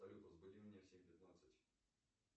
салют разбуди меня в семь пятнадцать